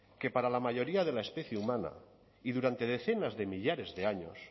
que para la mayoría de la especie humana y durante decenas de millares de años